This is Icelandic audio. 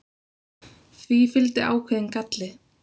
Því fylgdi ákveðinn galli.